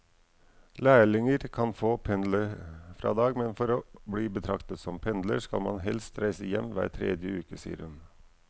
Lærlinger kan få pendlerfradrag, men for å bli betraktet som pendler skal man helst reise hjem hver tredje uke, sier hun.